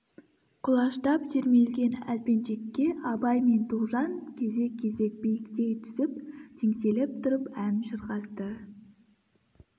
құлаштап сермелген әлпеншекке абай мен тоғжан кезек-кезек биіктей түсіп теңселіп тұрып ән шырқасты